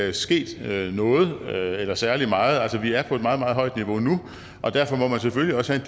er sket noget eller særlig meget altså vi er på et meget meget højt niveau nu derfor må man selvfølgelig også have